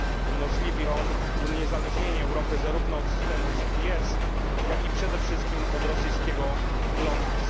Umożliwi on uniezależnienie Europy zarówno od systemu GPS, jak i przede wszystkim od rosyjskiego GLONASS.